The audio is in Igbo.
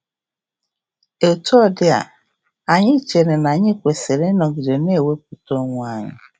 Etu ọ dịa, anyị chere na anyị kwesịrị ịnọgide na-ewepụta onwe anyị.